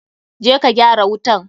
Je ka gyara wutan!